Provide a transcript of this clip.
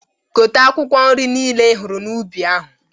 Gote akwụkwọ nri nile ihụrụ n'ubi ahụ!